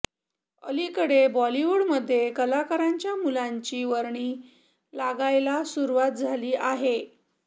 अलीकडे बॉलिवूडमध्ये कलाकारांच्या मुलांची वर्णी लागायला सुरुवात झाली आहे